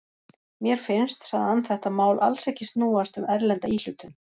Mér finnst, sagði hann, þetta mál alls ekki snúast um erlenda íhlutun.